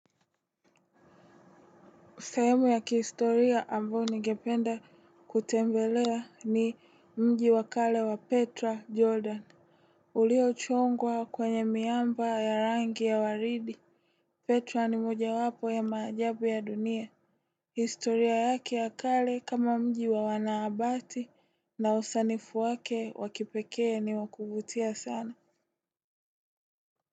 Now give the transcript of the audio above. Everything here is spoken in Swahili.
Sehemu ya kihistoria ambayo ningependa kutembelea ni mji wa kale wa petra jordan. Uliochongwa kwenye miamba ya rangi ya waridi. Petra ni mojawapo ya maajabu ya dunia. Historia yake ya kale kama mji wa wanahabati na usanifu wake wa kipekee ni wa kuvutia sana.